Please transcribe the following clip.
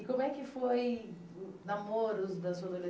E como é que foi namoros da sua